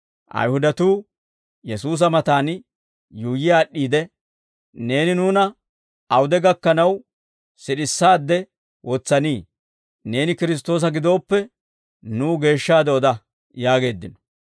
Ayihudatuu Yesuusa matan yuuyyi aad'd'iide, «Neeni nuuna awude gakkanaw sid'issaadde wotsanii? Neeni Kiristtoosa giddoppe, nuw geeshshaade oda» yaageeddino.